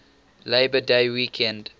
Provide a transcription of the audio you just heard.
labor day weekend